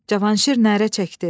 Cavanşir nərə çəkdi.